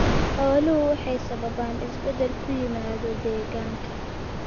Xooluhu waxay sababaan isbeddel ku yimaada deegaanka.